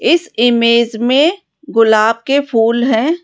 इस इमेज में गुलाब के फूल हैं।